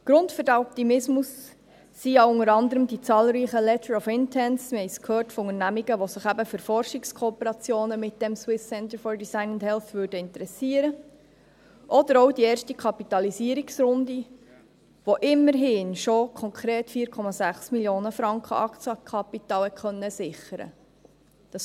Grund für den Optimismus sind ja unter anderem die zahlreichen «Letters of Intent» – wir haben es gehört – von Unternehmungen, welche sich für Forschungskooperation mit dem SCDH interessieren würden oder auch die erste Kapitalisierungsrunde, in welcher immerhin schon konkret 4,6 Mio. Franken Aktienkapital gesichert werden konnten.